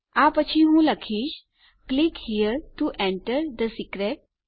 આ પછી હું લખીશ click here to enter the secret